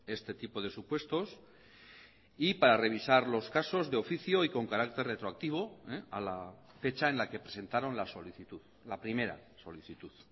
este tipo de supuestos y para revisar los casos de oficio y con carácter retroactivo a la fecha en la que presentaron la solicitud la primera solicitud